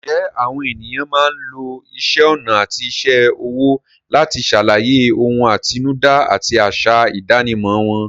Ǹjẹ́ àwọn ènìyàn máa ń lo isẹ́ ọnà àti iṣẹ́ ọwọ́ láti ṣàlàyé ohun àtinúdá àti àṣà ìdánimọ̀ wọn?